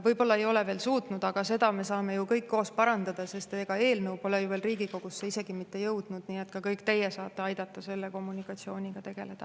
Võib-olla ei ole veel suutnud, aga seda me saame ju kõik koos parandada, sest eelnõu pole ju veel isegi Riigikogusse jõudnud, nii et ka kõik teie saate aidata selle kommunikatsiooniga tegeleda.